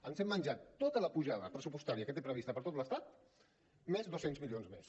ens hem menjat tota la pujada pressupostària que té prevista per tot l’estat més dos cents milions més